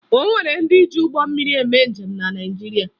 O nwere ndị ji ụgbọ mmiri eme njem na Naịjirịa